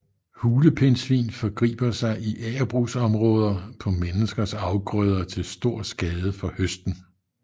Hulepindsvin forgriber sig i agerbrugsområder på menneskers afgrøder til stor skade for høsten